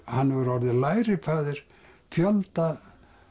hann hefur orðið lærifaðir fjölda